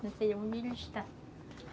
Não sei onde ele está.